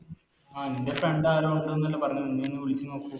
ആ നിൻറെ Friend ആണോ ഉണ്ട് ന്നല്ലേ പറഞ്ഞത് നീ ഒന്ന് വിളിച്ച് നോക്കു